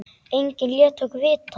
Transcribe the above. Enginn lét okkur vita.